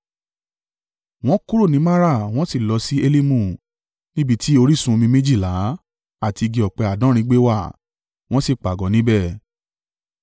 Wọ́n kúrò ní Mara wọ́n sì lọ sí Elimu, níbi tí orísun omi méjìlá àti igi ọ̀pẹ àádọ́rin gbé wà, wọ́n sì pàgọ́ níbẹ̀.